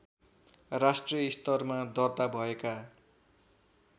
राष्ट्रिय स्तरमा दर्ता भएका